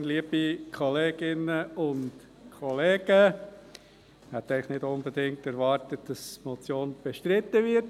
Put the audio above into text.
Eigentlich habe ich nicht unbedingt erwartet, dass die Motion bestritten wird.